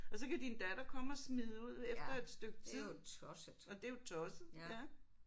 Og så kan din datter komme og smide ud efter et stykke tid. Og det er jo tosset ja